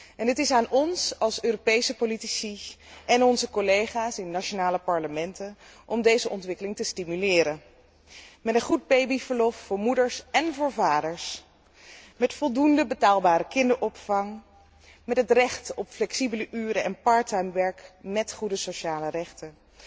En het is aan ons als Europese politici en onze collega's in de nationale parlementen om deze ontwikkeling te stimuleren met een goed babyverlof voor moeders én voor vaders, met voldoende betaalbare kinderopvang, met het recht op flexibele uren en parttime werk met goede sociale rechten,